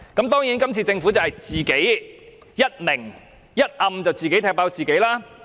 當然，今次是政府一明一暗地自我暴露了意圖。